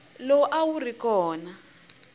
lowu a wu ri kona